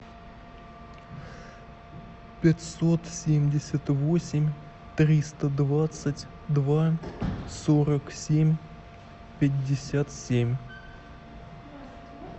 пятьсот семьдесят восемь триста двадцать два сорок семь пятьдесят семь